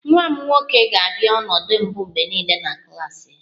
Nwa m nwoke ga-abịa ọnọdụ mbụ mgbe niile na klas ya